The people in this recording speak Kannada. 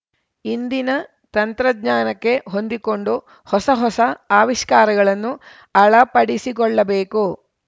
ಇಂದಿನ ತಂತ್ರಜ್ಞಾನಕ್ಕೆ ಹೊಂದಿಕೊಂಡು ಹೊಸ ಹೊಸ ಆವಿಷ್ಕಾರಗಳನ್ನು ಅಳಪಡಿಸಿಕೊಳ್ಳಬೇಕು